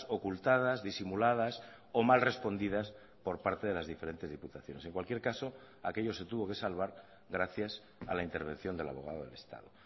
ocultadas disimuladas o mal respondidas por parte de las diferentes diputaciones en cualquier caso aquello se tuvo que salvar gracias a la intervención del abogado del estado